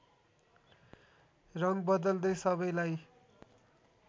रङ बदल्दै सबैलाई